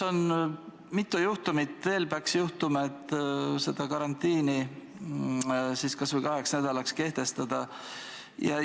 Mitu juhtumit veel peaks ette tulema, et karantiin kas või kaheks nädalaks kehtestataks?